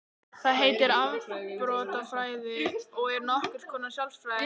Það heitir afbrotafræði og er nokkurs konar sálfræði.